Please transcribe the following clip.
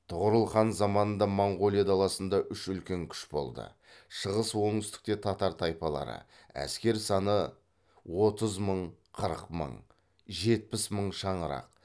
тұғырыл хан заманында моңғолия даласында үш үлкен күш болды шығыс оңтүстікте татар тайпалары әскер саны отыз мың қырық мың жетпіс мың шаңырақ